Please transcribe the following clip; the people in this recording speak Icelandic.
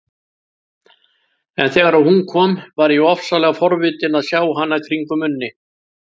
En þegar hún kom var ég ofsalega forvitin að sjá hana kringum Unni.